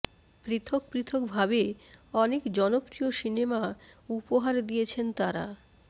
পৃথক পৃথক ভাবে অনেক জনপ্রিয় সিনেমা উপহার দিয়েছেন তারা